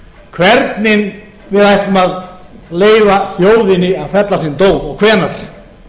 hvernig við ætlum að leyfa þjóðinni að fella sinn dóm og hvenær